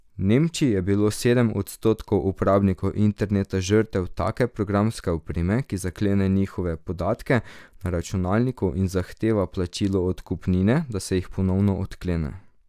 V Nemčiji je bilo sedem odstotkov uporabnikov interneta žrtev take programske opreme, ki zaklene njihove podatke na računalniku in zahteva plačilo odkupnine, da se jih ponovno odklene.